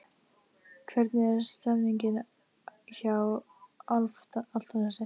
Hvernig er stemningin hjá Álftanesi?